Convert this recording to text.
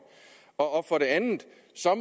og for det andet